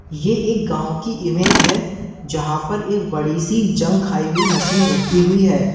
ये एक गांव की इमेज है जहां पर एक बड़ी सी जंग खाई हुई मशीन रखी हुई है।